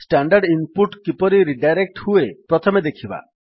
standard input କିପରି redirect ହୁଏ ପ୍ରଥମେ ଦେଖିବା